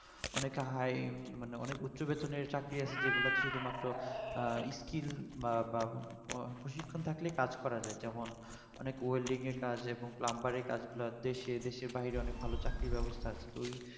অনেকে high মানে অনেক উচ্চ বেতনের চাকরি আছে যেগুলো তে শুধুমাত্র হম skill বা~ বা প্রশিক্ষণ থাকলে কাজ করা যায় যেমন অনেক welding এর কাজ এবং plumber এর কাজগুলো দেশে দেশের বাইরে অনেক ভালো চাকরি ব্যবস্থা আছে তো ওই